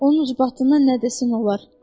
Onun ucbatından nə desən olar.